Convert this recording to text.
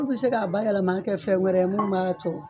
Lu bɛ se k'a bayɛlɛmali kɛ fɛn wɛrɛ ye mun b'a to